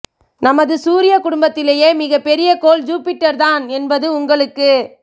நமது சூரிய குடும்பத்திலேயே மிகப் பெரிய கோள் ஜூபிடர் தான் என்பது உங்களுக்கு